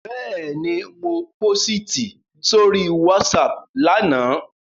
Bẹ́ẹ̀ni, mo pósìtì sórí WhatsApp lánàá